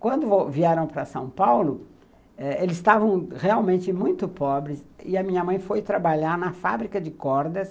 Quando vieram para São Paulo eh eles estavam realmente muito pobres, e a minha mãe foi trabalhar na fábrica de cordas.